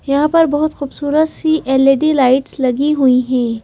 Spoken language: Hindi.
यहां पर बहुत खूबसूरत सी एल_ई_डी लाइट्स लगी हुई हैं।